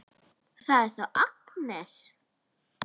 Það er þá Agnes!